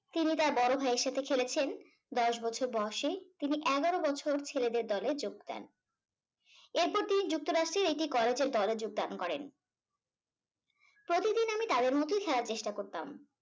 তিনি তার বড় ভাইয়ের সাথে খেলেছেন দশ বছর বয়সে। তিনি এগারো বছর ছেলেদের দলে যোগ দেন। এরপর তিনি যুক্তরাষ্ট্রের একটি কলেজের দলে যোগদান করেন। প্রতিদিন আমি তাদের মতোই খেলার চেষ্টা করতাম।